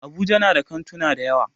Abuja na da kantuna dayawa.